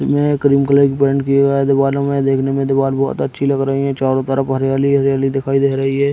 जिसमे cream colour का paint किया हुआ दीवालो में देखने में दीवाल बहुत अच्छी लग रही है चारो तरफ हरियाली-हरियाली दिखाई दे रही है |